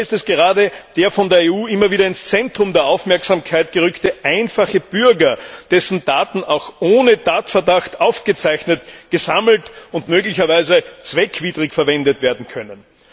Dabei ist es gerade der von der EU immer wieder ins Zentrum der Aufmerksamkeit gerückte einfache Bürger, dessen Daten auch ohne Tatverdacht aufgezeichnet, gesammelt und möglicherweise zweckwidrig verwendet werden können.